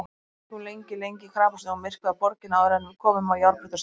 Við gengum lengi lengi í krapasnjó um myrkvaða borgina áður en við komum á járnbrautarstöðina.